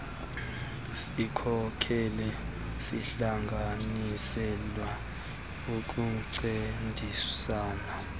sikhokelo sihlanganiselwe ukuncediasana